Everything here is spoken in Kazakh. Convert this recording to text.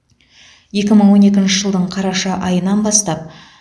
екі мың он екінші жылдың қараша айынан бастап